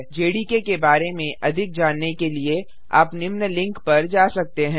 JDK के बारे में अधिक जानने के लिए आप निम्न लिंक पर जा सकते हैं